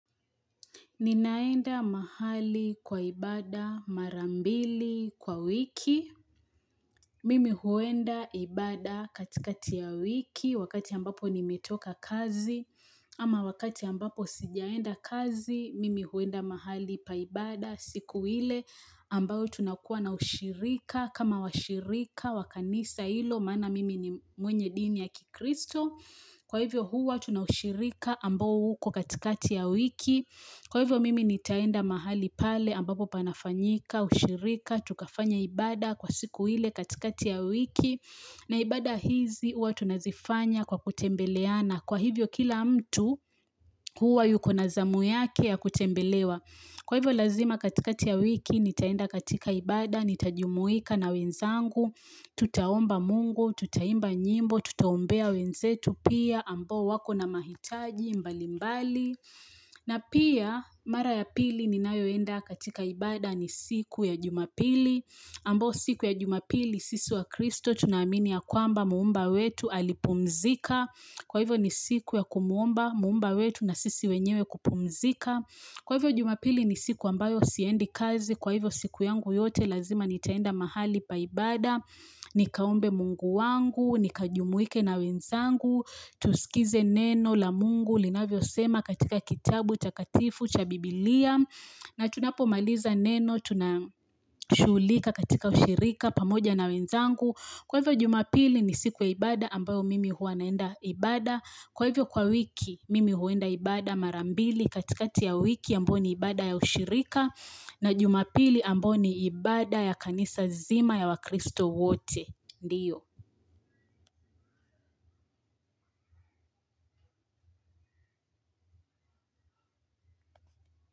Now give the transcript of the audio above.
Ninaenda mahali kwa ibada mara mbili kwa wiki, mimi huenda ibada katikati ya wiki wakati ambapo nimetoka kazi ama wakati ambapo sijaenda kazi mimi huenda mahali pa ibada siku ile ambao tunakua na ushirika kama washirika wakanisa hilo mana mimi ni mwenye dini ya kikristo. Kwa hivyo huwa tunaushirika ambao uko katikati ya wiki. Kwa hivyo mimi nitaenda mahali pale ambapo panafanyika, ushirika, tukafanya ibada kwa siku ile katikati ya wiki. Na ibada hizi huwa tunazifanya kwa kutembeleana. Kwa hivyo kila mtu huwa yuko nazamu yake ya kutembelewa. Kwa hivyo lazima katika ya wiki nitaenda katika ibada, nitajumuika na wenzangu, tutaomba mungu, tutaimba nyimbo, tutaombea wenzetu pia ambao wako na mahitaji mbalimbali. Na pia mara ya pili ninayoenda katika ibada ni siku ya jumapili, ambao siku ya jumapili sisu wa kristo tunamini ya kwamba muumba wetu alipumzika. Kwa hivyo ni siku ya kumuomba, muumba wetu na sisi wenyewe kupumzika kwa hivyo jumapili ni siku ambayo siendi kazi kwa hivyo siku yangu yote lazima nitaenda mahali pa ibada nikaombe mungu wangu, nikajumuike na wenzangu tusikize neno la mungu, linavyosema katika kitabu, takatifu, cha biblia na tunapo maliza neno, tuna shughulika katika ushirika, pamoja na wenzangu Kwa hivyo jumapili ni siku ya ibada ambayo mimi huwa naenda ibada. Kwa hivyo kwa wiki mimi huwenda ibada marambili katikati ya wiki ambayo ni ibada ya ushirika na jumapili ambayo ni ibada ya kanisa zima ya wakristo wote. Ndiyo.